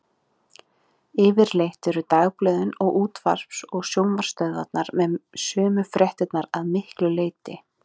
Yfirleitt eru dagblöðin, og útvarps- og sjónvarpsstöðvarnar með sömu fréttirnar að miklu leyti.